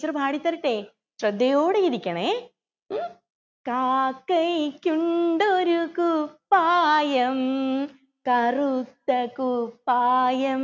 teacher പാടിത്തരട്ടെ ശ്രദ്ധയോടെ ഇരിക്കണെ ഉം കാക്കയ്ക്കുണ്ടൊരു കുപ്പായം കറുത്ത കുപ്പായം